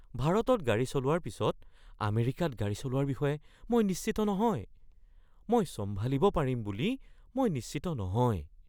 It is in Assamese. ভাৰতত গাড়ী চলোৱাৰ পিছত আমেৰিকাত গাড়ী চলোৱাৰ বিষয়ে মই নিশ্চিত নহয়। মই চম্ভালিব পাৰিম বুলি মই নিশ্চিত নহয়।